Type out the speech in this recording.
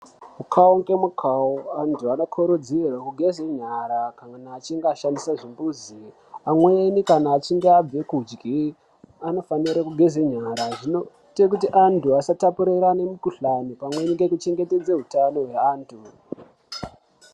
Mukawo ngemukawo antu anokurudzirwe kugeze nyara kana achinge ashandise zvimbuzo amweni kana achinge abve kudye onofanire kugeze nyara zvinoite kuti antu asatapurirane mukhuhlani pamweni ngekuchengetedze utano hwaantu.